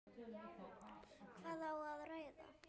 Hvað á að ræða?